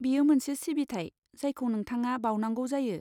बेयो मोनसे सिबिथाय जायखौ नोंथाङा बाउनांगौ जायो।